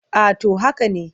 A to haka ne.